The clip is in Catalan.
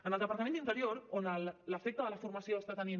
en el departament d’interior on l’efecte de la formació està tenint